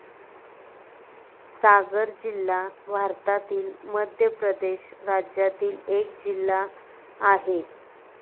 सागर जिल्हा भारतातील मध्य प्रदेश राज्यातील एक जिल्हा आहे.